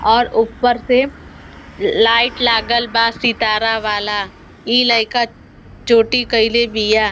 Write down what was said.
और ऊपर से लाइट लगल बा सितार वाला। इ लइका छोटी कइले बिया।